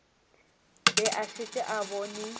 be a šetše a bone